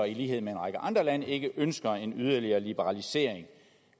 i lighed med en række andre lande ikke ønsker en yderligere liberalisering